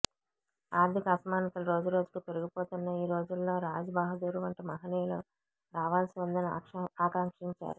ఆర్థిక అసమానతలు రోజురోజుకూ పెరిగిపోతున్న ఈ రోజుల్లో రాజ్ బహదూర్ వంటి మహనీయులు రావాల్సి ఉందని ఆకాంక్షించారు